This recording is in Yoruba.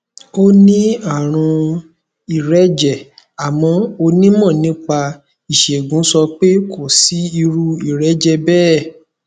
ó ní àrùn ìrẹjẹ àmọ onímọ nípa ìṣègùn sọ pé kò sí irú ìrẹjẹ bẹẹ